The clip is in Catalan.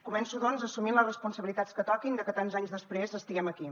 començo doncs assumint les responsabilitats que toquin de que tants anys després estiguem aquí